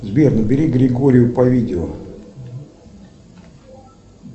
сбер набери григорию по видео